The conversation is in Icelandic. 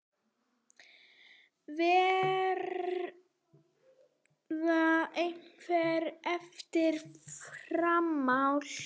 Verða einhver eftirmál að því?